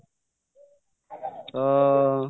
ଅ ଉ